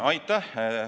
Aitäh!